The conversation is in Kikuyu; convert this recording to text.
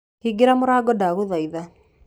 Hingĩra mũrango ndagũthaitha.